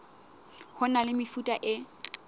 ho na le mefuta e